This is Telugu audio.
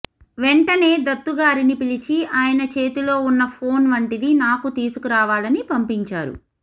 వెంటనే దత్తుగారిని పిలిచి ఆయన చేతిలో ఉన్న ఫోన్ వంటిది నాకు తీసుకురావాలని పంపించారు